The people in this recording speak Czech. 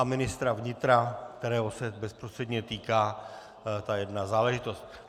A ministra vnitra, kterého se bezprostředně týká ta jedna záležitost.